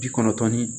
Bi kɔnɔntɔn ni